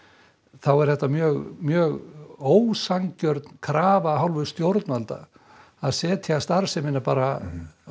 þá er þetta mjög mjög ósanngjörn krafa af hálfu stjórnvalda að setja starfsemina bara